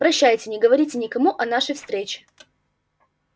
прощайте не говорите никому о нашей встрече